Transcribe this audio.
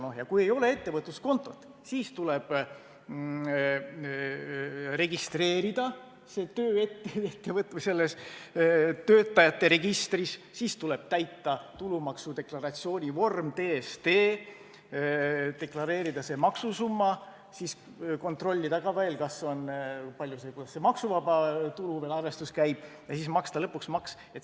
Kui tal ei ole ettevõtluskontot, siis tuleb see töö registreerida töötajate registris, seejärel tuleb täita tuludeklaratsiooni vorm TSD, deklareerida see maksusumma, siis kontrollida ka veel, kuidas see maksuvaba tulu arvestus käib, ja siis maksta lõpuks maks.